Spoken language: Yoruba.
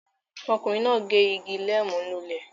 Ọkùnrin náà gé igi neem lulẹ̀